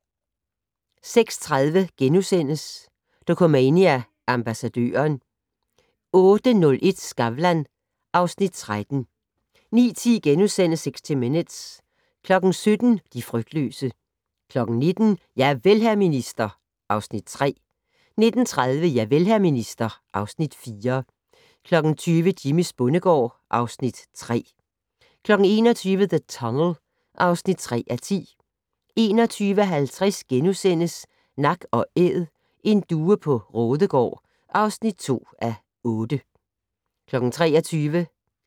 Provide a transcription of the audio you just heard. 06:30: Dokumania: Ambassadøren * 08:01: Skavlan (Afs. 13) 09:10: 60 Minutes * 17:00: De frygtløse 19:00: Javel, hr. minister (Afs. 3) 19:30: Javel, hr. minister (Afs. 4) 20:00: Jimmys bondegård (Afs. 3) 21:00: The Tunnel (3:10) 21:50: Nak & Æd - en due på Raadegaard (2:8)* 23:00: